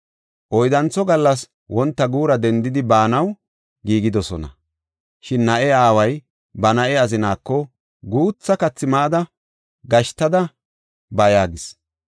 Oyddantho gallas wonta guura dendidi, baanaw giigidosona. Shin na7e aaway ba na7e azinaako, “Guutha kathi mada gashtada ba” yaagis.